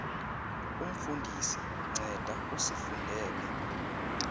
umfundisi nceda usifundele